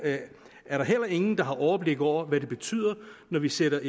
er der heller ingen der har overblik over hvad det betyder når vi sætter